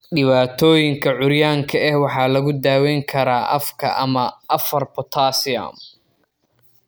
Dhibaatooyinka curyaanka ah waxaa lagu daweyn karaa afka ama IV potassium.